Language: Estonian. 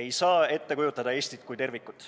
ei saa ette kujutada Eestit kui tervikut.